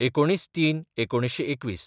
१९/०३/१९२१